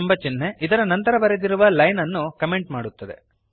ಎಂಬ ಚಿಹ್ನೆ ಇದರ ನಂತರ ಬರೆದಿರುವ ಲೈನ್ ಅನ್ನು ಕಮೆಂಟ್ ಮಾಡುತ್ತದೆ